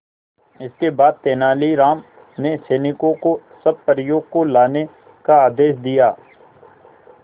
इसके बाद तेलानी राम ने सैनिकों को सब परियों को लाने का आदेश दिया